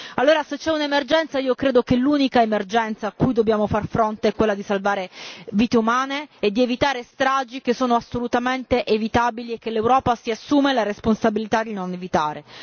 Allora, se c'è un'emergenza, credo che l'unica emergenza cui dobbiamo far fronte è quella di salvare vite umane e di evitare stragi che sono assolutamente evitabili e che l'Europa si assume la responsabilità di non evitare.